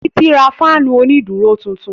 Títí ra fáànù òní dúró tuntun